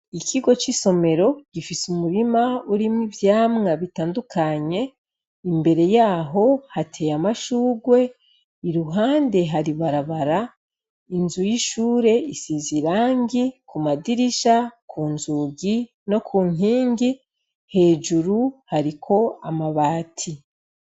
Ikigo c' isomero gifis' umurim' urimwo ivyamwa bitandukanye, imbere yaho hatey' amashurwe , iruhande har' ibarabara, inzu y'ishur' isiz' irangi k' umadirisha, kunzugi no ku nkingi hejuru harik' amabati.